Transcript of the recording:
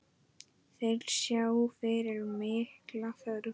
Þeir sjá fyrir mikla þörf.